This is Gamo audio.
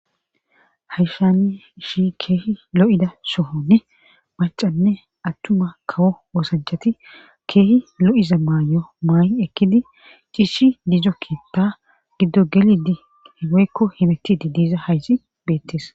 Hayshani ishi keehi lo7ida sohonne macanne attuma kawo woosanchati keehi lo7iza maayo maa7i ekkidi ciishi diizo kiinta giddo gelidi hiweykko himetidi diza haysi beettes.